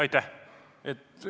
Aitäh!